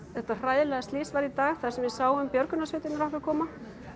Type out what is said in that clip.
þetta hræðilega slys varð í dag þar sem við sáum björgunarsveitirnar okkar koma